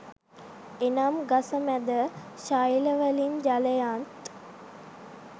එනම් ගස මැද ශෛලවලින් ජලයත්